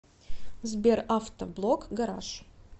сбер авто блог гараж